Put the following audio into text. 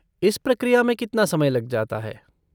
इस प्रक्रिया में कितना समय लग जाता है?